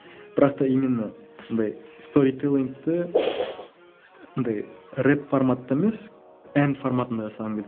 бірақ та именно андай сторителлингті андай рэп форматта емес эн форматында жасағым келді